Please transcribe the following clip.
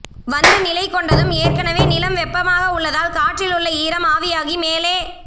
வந்து நிலைகொண்டதும் ஏற்கனவே நிலம் வெப்பமாக உள்ளதால் காற்றிலுள்ள ஈரம் ஆவியாகி மேலே